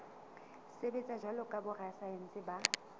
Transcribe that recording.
sebetsa jwalo ka borasaense ba